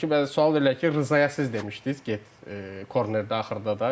ki bəzi sual verirlər ki, Rzaya siz demişdiniz get kornedə axırda da.